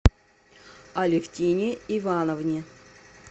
алевтине ивановне